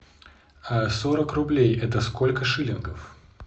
сорок рублей это сколько шиллингов